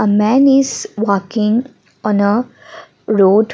a man is walking on a road.